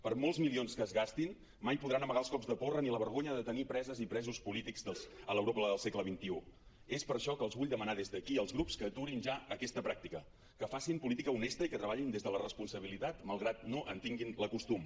per molts milions que es gastin mai podran amagar els cops de porra ni la vergonya de tenir preses i presos polítics a l’europa del segle xxiés per això que els vull demanar des d’aquí als grups que aturin ja aquesta pràctica que facin política honesta i que treballin des de la responsabilitat malgrat no en tinguin el costum